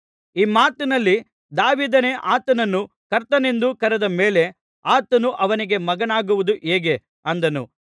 ಈ ಮಾತಿನಲ್ಲಿ ದಾವೀದನೇ ಆತನನ್ನು ಕರ್ತನೆಂದು ಕರೆದ ಮೇಲೆ ಆತನು ಅವನಿಗೆ ಮಗನಾಗುವುದು ಹೇಗೆ ಅಂದನು